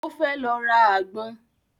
Ó fẹ́ lọ ra àgbọn